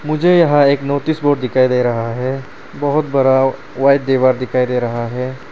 मुझे यहां एक नोटिस बोर्ड दिखाई दे रहा है बहोत बड़ा वाइट दीवार दिखाई दे रहा है।